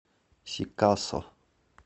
сикасо